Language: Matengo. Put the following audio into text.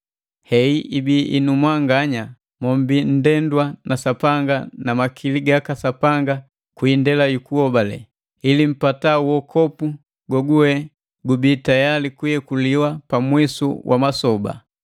Heyi ibiya inu mwanganya mombii nndendwa na Sapanga na makili gaka Sapanga kwi indela jukuhobale, ili mpata wokopu goguwe gubii tayali kuyekuliwa pa mwisu wa masoba.